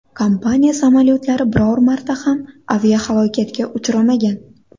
Kompaniya samolyotlari biror marta ham aviahalokatga uchramagan.